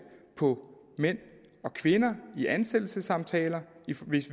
på mænd og kvinder i ansættelsessamtaler